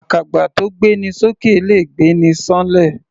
Àkàbà tó gbé ni s'ókè le gbé'ni ṣán'lẹ̀.